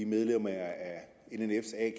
medlemmerne af nnf’s a